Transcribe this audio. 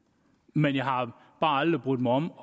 men jeg har bare aldrig brudt mig om